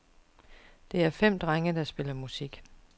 De er fem drenge, der spiller musik.